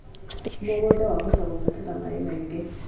Mũgũnda wahota kũbatara maĩ maingĩ